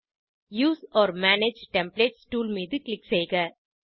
use ஒர் manage templates tool மீது click செய்க